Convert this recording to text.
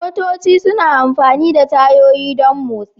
Motoci suna amfani da tayoyi don motsi.